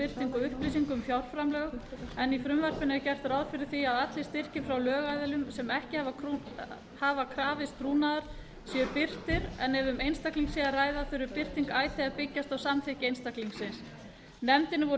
birtingu upplýsinga um fjárframlög en í frumvarpinu er gert ráð fyrir því að allir styrkir frá lögaðilum sem ekki hafa krafist trúnaðar séu birtir en ef um einstakling er að ræða þurfi birting icesave að byggjast á samþykki einstaklingsins nefndinni